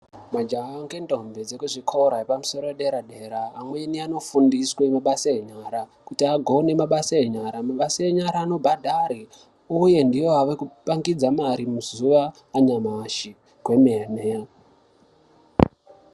Majaha ngendombi dzekuzvikora dzepamusoro paderadera amweni anofundiswe mabasa enyara kuti agone mabasa enyara, mabasa enyara anobhadhare uye ndiwo awekupangidza mare muzuwa ranyamashi kwemene.